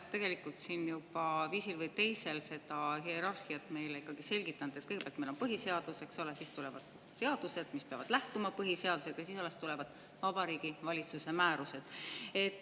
Sa oled siin viisil või teisel seda hierarhiat meile juba selgitanud, et kõigepealt on meil põhiseadus, siis tulevad seadused, mis peavad lähtuma põhiseadusest, ja alles siis tulevad Vabariigi Valitsuse määrused.